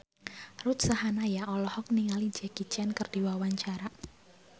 Ruth Sahanaya olohok ningali Jackie Chan keur diwawancara